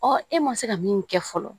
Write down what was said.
e ma se ka min kɛ fɔlɔ